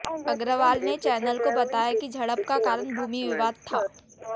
अग्रवाल ने चैनल को बताया कि झड़प का कारण भूमि विवाद था